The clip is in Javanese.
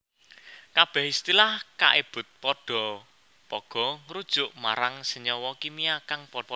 Kabeh istilah kaebut padha pagha ngrujuk marang senyawa kimia kang padha